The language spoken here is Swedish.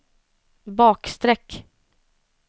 bakstreck